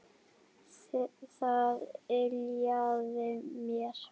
Það yljaði mér.